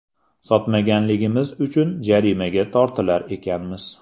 Sotmayotganimiz uchun jarimaga tortilar ekanmiz.